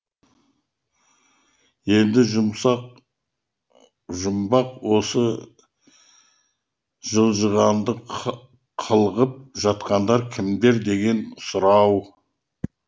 ендігі жұмбақ осы жылжығанды қылғып жатқандар кімдер деген сұрау